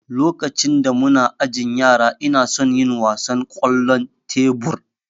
lokacin da muna ajin yara inason yin wasan kwallon tebur